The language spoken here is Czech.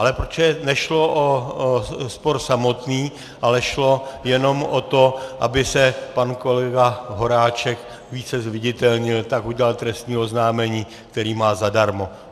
Ale protože nešlo o spor samotný, ale šlo jenom o to, aby se pan kolega Horáček více zviditelnil, tak udělal trestní oznámení, které má zadarmo.